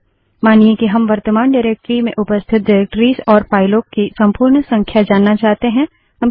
command 4 मानिए कि हम वर्तमान डाइरेक्टरी निर्देशिका में उपस्थित डाइरेक्टरिसनिर्देशिकाओं और फाइलों की संपूर्ण संख्या जानना चाहते हैं